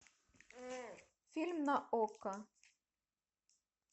фильм на окко